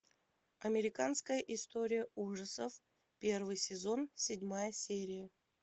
американская история ужасов первый сезон седьмая серия